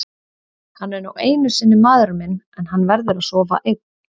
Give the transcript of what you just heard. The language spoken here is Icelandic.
Hann er nú einu sinni maðurinn minn en hann verður að sofa einn.